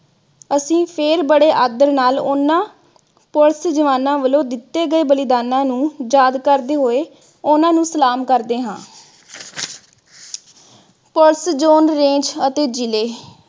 ਅਸੀਂ ਫਿਰ ਬੜੇ ਆਦਰ ਨਾਲ ਉਨ੍ਹਾਂ police ਜਵਾਨਾਂ ਵਲੋਂ ਦਿੱਤੇ ਗਏ ਬਲੀਦਾਨਾਂ ਨੂੰ ਯਾਦ ਕਰਦੇ ਹੋਏ ਉਨ੍ਹਾਂ ਨੂੰ ਸਲਾਮ ਕਰਦੇ ਹਾ। police zone range ਅਤੇ ਜਿਲੇ